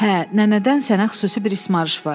Hə, nənədən sənə xüsusi bir ismarış var.